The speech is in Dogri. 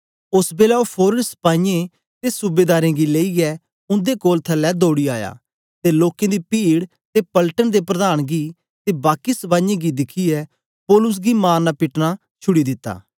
ओस बेलै ओ फोरन सपाईयें ते सूबेदारें गी लेईयै उन्दे कोल थलै दौड़ी आया ते लोकें दी पीड ते पलटन दे प्रधान गी ते बाकी सपाईयें गी दिखियै पौलुस गी मारना पीटना छुड़ी दिता